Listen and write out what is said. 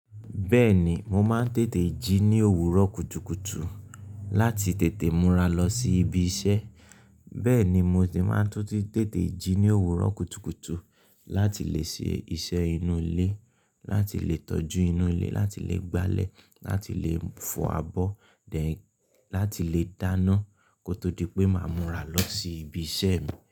Bẹ́ẹ̀ni, mo máa ń tètè jí ní òwúrọ̀ kùtùkùtù láti tètè múra lọ sí ibi iṣẹ́. Bẹ́ẹ̀ ni, mo sì máa ń tún ti tètè jí ní òwúrọ̀ kùtùkùtù láti lè ṣe iṣẹ́ inú ilé, láti lè tọ́jú inú ilé, láti lè gbálẹ̀, láti lè fọ abọ́, dẹ̀, láti lè dáná kó tó di pé máa múra lọ sí ibi iṣẹ́ mi.